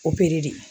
O pere de